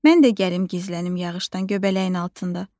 Mən də gəlim gizlənim yağışdan göbələyin altında.